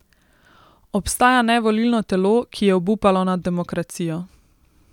Obstaja nevolilno telo, ki je obupalo nad demokracijo.